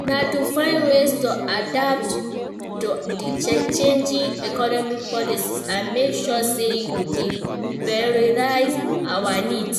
Na to find ways to adapt to di changing economic policies, and make sure say we dey prioritize our needs.